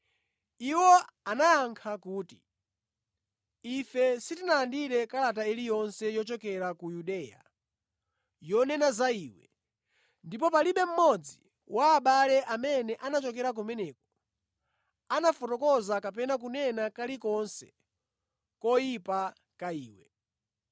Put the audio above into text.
Iwo anayankha kuti, “Ife sitinalandire kalata iliyonse yochokera ku Yudeya yonena za iwe, ndipo palibe mmodzi wa abale amene anachokera kumeneko anafotokoza kapena kunena kalikonse koyipa ka iwe.